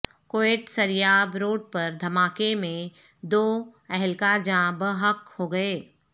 Quetta Sariab road پر دھماکے میں دو اہل کار جان بحق ہوگئے